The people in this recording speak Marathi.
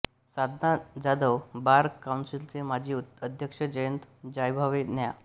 साधना जाधव बार काउन्सिलचे माजी अध्यक्ष जयंत जायभावे न्या